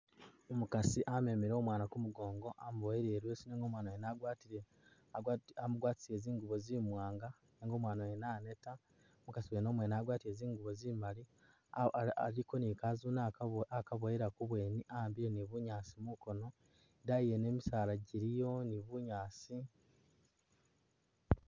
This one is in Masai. Umukasi amemile umwaana ku mugoongo amuboyile i'leesu nenga umwaana mwene wagwatile agwati amugwatisile zingubo zimwaanga nenga umwaana wene aneeta. Umukasi wene umwene wagwatile zingubo zimali ah ah aliko ni kazune akaboya akaboyela kubwene a'ambile ni bunyaasi mukoono. Idaayi yene misaala giliyo ni bunyaasi.